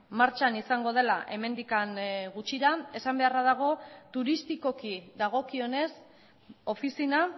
martxan izango dela hemendik gutxira esan beharra dago turistikoki dagokionez ofizina